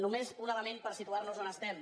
només un element per situar nos on estem